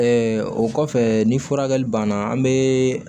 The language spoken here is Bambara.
o kɔfɛ ni furakɛli banna an bɛ